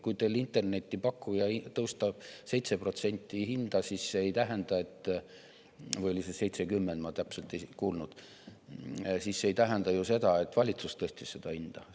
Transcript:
Kui teil internetipakkuja tõstab 7% hinda, siis see ei tähenda – või oli see 70%, ma täpselt ei kuulnud – ju seda, et valitsus tõstis seda hinda.